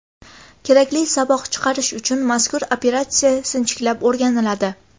Kerakli saboq chiqarish uchun mazkur operatsiya sinchiklab o‘rganiladi.